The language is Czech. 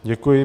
Děkuji.